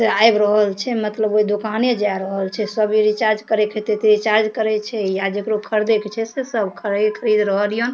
आब रहल छै मतलब ओय दुकाने जाय रहल छै सभी रिचार्ज करय के हेते ते रिचार्ज करे छै या जकड़ो खरीदे के छै से सब खरीद खरीद रहल ये।